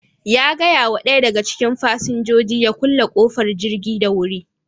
Ya gaya wa ɗaya daga cikin fasinjoji ya kulle ƙofar jirgin da wuri.